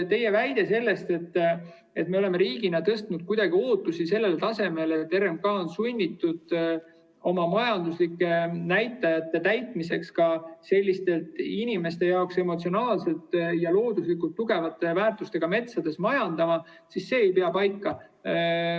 Teie väide, et me oleme riigina tõstnud ootused kuidagi sellele tasemele, et RMK on sunnitud oma majanduslike näitajate täitmiseks ka sellistes inimeste jaoks emotsionaalselt ja looduslikult tugevate väärtustega metsades majandama, ei pea paika.